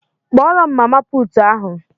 Kpọọrọ m mama puutu ahụ!